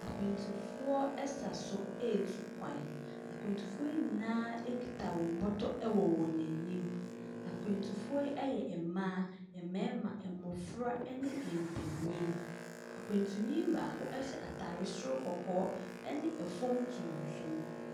Akwantufoɔ sa so retu kwan. Akwantufoɔ yi nyinaa kita wɔn bɔtɔ wɔ wɔn anim. Akwantufoɔ yi yɛ mmaa, mmarima, mmɔfra ne mpanin. Ɛkwantuni baako hyɛ atadeɛ soro kɔkɔɔ ne fam tuntum.